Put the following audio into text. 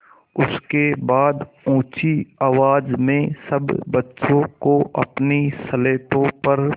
उसके बाद ऊँची आवाज़ में सब बच्चों को अपनी स्लेटों पर